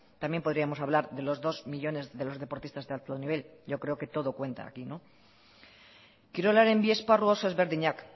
también podríamos hablar de los dos millónes de los deportistas de alto nivel yo creo que todo cuenta aquí no kirolaren bi esparru oso ezberdinak